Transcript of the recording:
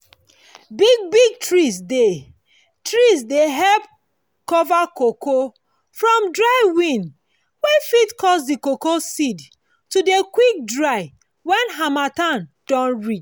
big big trees dey trees dey help cover cocoa from dry wind wey fit cause the cocoa seed to dey quick dry when harmattan don reach